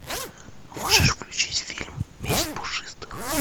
можешь включить фильм месть пушистых